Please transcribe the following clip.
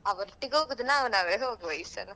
ಅವರೊಟ್ಟಿಗೆ ಹೋಗುದು ನಾವ್ ನಾವ್ ವೇ ಹೋಗ್ವಾ ಈ ಸಲ.